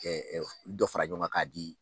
Kɛ dɔ fara ɲɔn kan k'a di